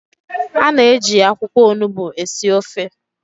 A na-eji akwụkwọ Onugbu esi ofe